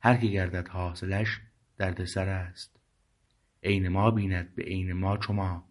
هر که گردد حاصلش درد سر است عین ما بیند به عین ما چو ما